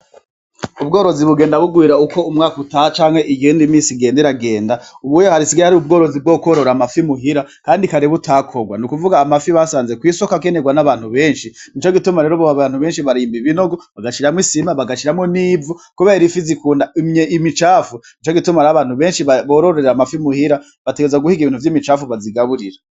Ubworozi bugenda bugwira ukwo umwaka utaha canke igihe imisi igenda iragenda, ubu hasigaye hari ubworozi bwo kworora amafi muhira, kandi kare butakorwa ni ukuvuga amafi basanze kw'isoko akenerwa n'abantu benshi nico gituma rero ubu abantu benshi barimba ibinogo bagashiramo isima bagashiramo n'ivu, kubera ifi zikunda imicafu nico gituma rero abantu benshi bororeramwo amafi imuhira, bategezwa guhiga ibintu vy'imicapfu bazigaburira.